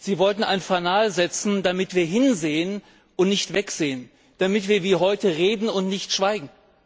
Sie wollten ein Fanal setzen, damit wir hinsehen und nicht wegsehen, damit wir wie heute reden und nicht schweigen.